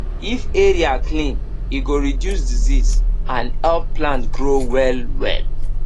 if area clean e go reduce disease and help plant grow well well